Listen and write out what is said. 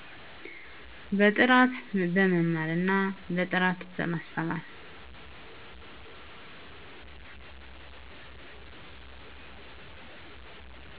በጥራት በመማር እና በጥራት በማስተማር